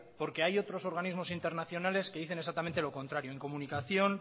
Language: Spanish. porque hay otros organismos internacionales que dicen exactamente lo contrario incomunicación